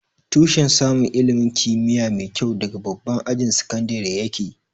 Tushen samun ilimin kimiyya mai kyua daga babban ajin sakandire ya ke